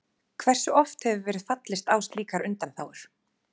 Hversu oft hefur verið fallist á slíkar undanþágur?